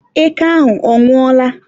eke ahụ ọ nwụọla?